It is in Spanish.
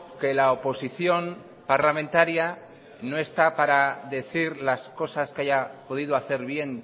que la oposición parlamentaria no está para decir las cosas que haya podido hacer bien